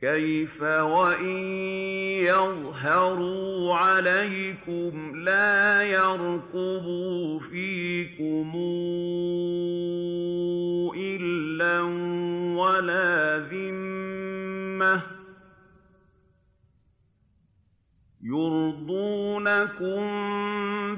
كَيْفَ وَإِن يَظْهَرُوا عَلَيْكُمْ لَا يَرْقُبُوا فِيكُمْ إِلًّا وَلَا ذِمَّةً ۚ يُرْضُونَكُم